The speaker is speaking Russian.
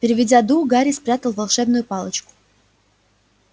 переведя дух гарри спрятал волшебную палочку